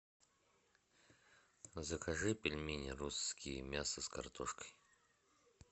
закажи пельмени русские мясо с картошкой